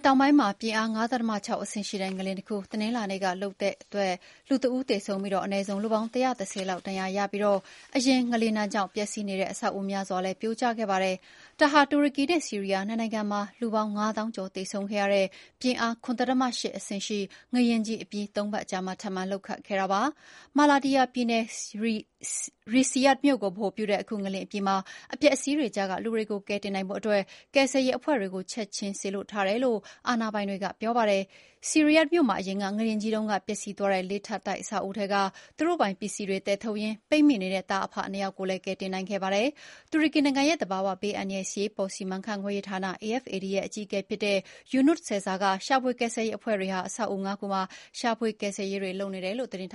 တောင်ပိုင်းမှာ အင်အား ၅.၆ ရှိတဲ့ငလျင်တခု တနင်္လာနေ့ကလှုပ်ခတ်ခဲ့လို့ လူတဦးသေဆုံးပြီး အနည်းဆုံး လူပေါင်း ၁၁၀ လောက် ဒဏ်ရာရခဲ့ပါတယ်။ အရင်ငလျင်ဒဏ်ကြောင့် ပျက်စီးနေတဲ့အဆောက်အဦးများစွာလည်း ပြိုကျခဲ့ပါတယ်။ ဒါဟာ တူရကီနဲ့ဆီးရီးယားနှစ်နိုင်ငံမှာ လူပေါင်းငါးသောင်းကျော် သေဆုံးခဲ့ရတဲ့ ပြင်းအား ၇.၈ ရှိ ငလျင်ကြီးအပြီး သုံးပတ်အကြာမှာ ထပ်မံလှုပ်ခတ်ခဲ့တာပါ။ မာလာတီယာပြည်နယ်၊ ရီဆီယာ့တ်မြို့ကိုဗဟိုပြုတဲ့ အခုငလျင်အပြီးမှာ အပျက်အစီးတွေကြားကလူတွေကို ကယ်တင်နိုင်ဖို့ ကယ်ဆယ်ရေးအဖွဲ့တွေကို ချက်ချင်းစေလွှတ်ထားတယ်လို့ အာဏာပိုင်တွေကပြောပါတယ်။ ရီဆီယာ့တ် မြို့မှာ အရင်ငလျင်ကြီးတုန်းက ပျက်စီးသွားတဲ့ လေးထပ်တိုက်အဆောက်အဦးထဲက သူတို့ပိုင်ပစ္စည်းတွေ သယ်ထုတ်ရင်းပိတ်မိနေတဲ့ သားအဖနှစ်ယောက်ကိုလည်း ကယ်တင်နိုင်ခဲ့တာပါ။ တူရကီနိုင်ငံရဲ့သဘာဝဘေးအန္တရာယ်နဲ့ အရေးပေါ်စီမံခန့်ခွဲရေးဌာန (AFAD) ရဲ့အကြီးအကဲဖြစ်တဲ့ ယူနွတ်ဆက်ဇာ (Yunus Sezer) က ရှာဖွေကယ်ဆယ်ရေးအဖွဲ့တွေဟာ အဆောက်အဦးငါးခုမှာ ရှာဖွေကယ်ဆယ်ရေးတွေ လုပ်နေတယ်လို့ သတင်းထ